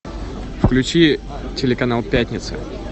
включи телеканал пятница